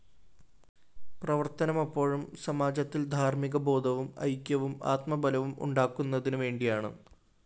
പ്രവര്‍ത്തനമപ്പോഴും സമാജത്തില്‍ ധാര്‍മികബോധവും ഐക്യവും ആത്മബലവും ഉണ്ടാക്കുന്നതിന് വേണ്ടിയാണ്